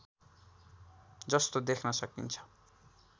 जस्तो देख्न सकिन्छ